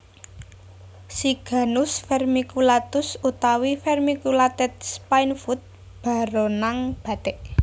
Siganus Vermiculatus utawi vermiculated Spinefoot baronang batik